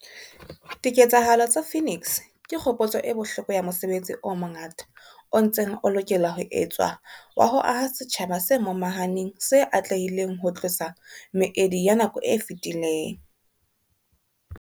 Diketsahalo tsa Phoenix ke kgopotso e bohloko ya mosebetsi o mongata o ntseng o lokela ho etswa wa ho aha setjhaba se momahaneng se atlehileng ho tlosa meedi ya nako e fetileng.